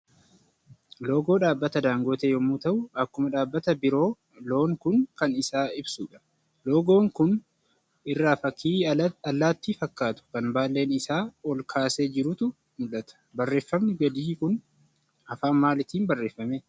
Loogoo dhaabbata daangotee yommuu ta'u, akkuma dhaabbata biroo loon Kun kan isa ibsudha. Loogoo kana irra fakkii allaattii fakkaatu, kan baallee isaa ol kaasee jirutu mul'ata. Barreeffamni gadii kun afaan maaliitiin barrffame?